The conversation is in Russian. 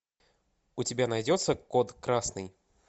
у тебя найдется код красный